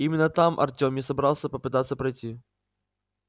именно там артём и собрался попытаться пройти